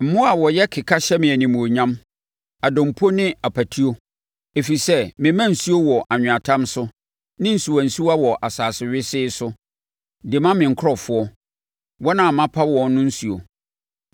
Mmoa a wɔyɛ keka hyɛ me animuonyam, adompo ne apatuo, ɛfiri sɛ mema nsuo wɔ anweatam so ne nsuwansuwa wɔ asase wesee so de ma me nkurɔfoɔ, wɔn a mapa wɔn no nsuo,